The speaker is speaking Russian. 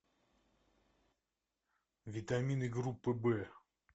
витамины группы б